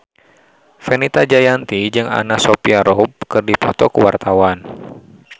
Fenita Jayanti jeung Anna Sophia Robb keur dipoto ku wartawan